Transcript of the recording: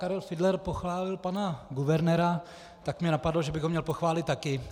Karel Fiedler pochválil pana guvernéra, tak mě napadlo, že bych ho měl pochválit taky.